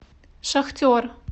шахтер